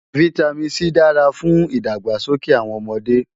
Vitamin C dára fún ìdàgbàsókè àwọn ọmọdé